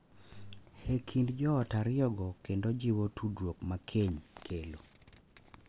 E kind joot ariyogo kendo jiwo tudruok ma keny kelo.